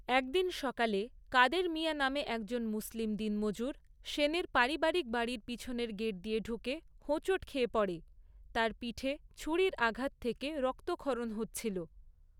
একদিন সকালে, কাদের মিঞা নামে একজন মুসলিম দিনমজুর সেনের পারিবারিক বাড়ির পিছনের গেট দিয়ে ঢুকে হোঁচট খেয়ে পড়ে, তার পিঠে ছুরির আঘাত থেকে রক্তক্ষরণ হচ্ছিল।